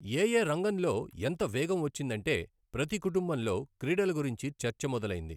ఎఏ రంగంలో ఎంత వేగం వచ్చిందంటే ప్రతి కుటుంబంలో క్రీడల గురించి చర్చ మొదలైంది.